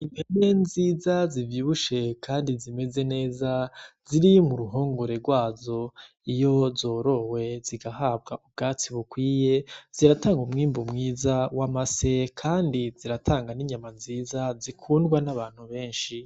Impene nziza zivyibushe kandi zimeze neza ziri muruhongore gwazo iyo zorowe zigahabwa ubwatsi bukwiye ziratanga umwimbu mwiza w' amase kandi ziratanga n' inyama nziza zikundwa n' abantu benshi.